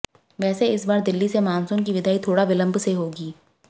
वैसे इस बार दिल्ली से मानसून की विदाई थोड़ा विलंब से होगी